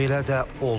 Belə də oldu.